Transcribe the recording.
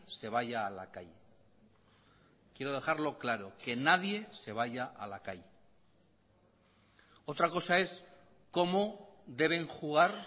se vaya a la calle quiero dejarlo claro que nadie se vaya a la calle otra cosa es cómo deben jugar